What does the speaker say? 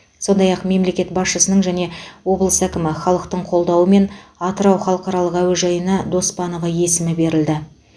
сондай ақ мемлекет басшысының және облыс әкімі халықтың қолдауымен атырау халықаралық әуежайына доспанова есімі берілді